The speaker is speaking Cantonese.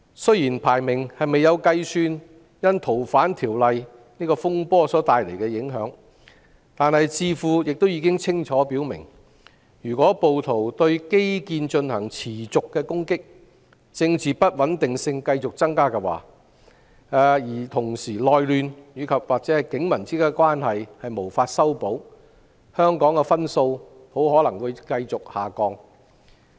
雖然排名未有計算《逃犯條例》風波帶來的影響，但智庫已清楚表明，如果暴徒持續對基建進行攻擊、政治不穩定性繼續增加，同時內亂或警民關係無法修補，香港的分數很可能會繼續下降。